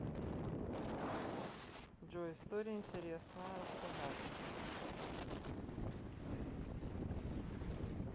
джой история интересная рассказать